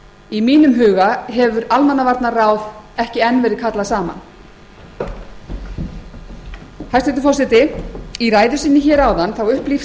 í mínum huga hefur almannavarnaráð ekki enn verið kallað saman hæstvirtur forseti í ræðu sinni hér áðan upplýsti